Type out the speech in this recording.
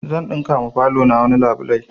Zan ɗinka ma falo na wani labulai